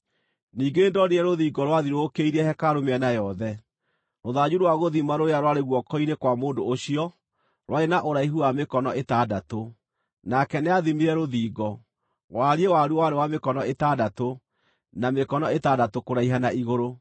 Ningĩ nĩndonire rũthingo rwathiũrũrũkĩirie hekarũ mĩena yothe. Rũthanju rwa gũthima rũrĩa rwarĩ guoko-inĩ kwa mũndũ ũcio rwarĩ na ũraihu wa mĩkono ĩtandatũ. Nake nĩathimire rũthingo; wariĩ waruo warĩ wa mĩkono ĩtandatũ, na mĩkono ĩtandatũ kũraiha na igũrũ.